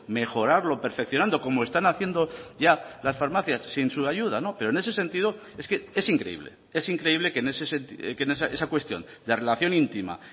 mejorarlo perfeccionando como están haciendo ya las farmacias sin su ayuda pero en ese sentido es que es increíble es increíble que esa cuestión de relación íntima